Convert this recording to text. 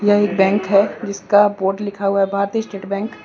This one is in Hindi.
यह एक बैंक है। जिसका बोर्ड लिखा हुआ है। भारतीय स्टेट बैंक --